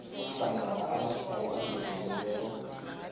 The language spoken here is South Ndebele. hlangana amatshwayo angezelelweko